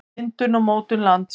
myndun og mótun lands